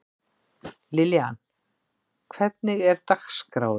Liljan, hvernig er dagskráin í dag?